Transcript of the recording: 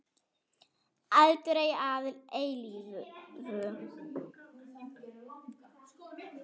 Aldrei að eilífu.